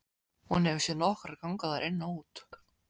Hún hefur séð nokkra ganga þar inn og út.